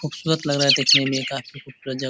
खूबसूरत लग रहा है देखने में काफ़ी खूबसूरत जगह --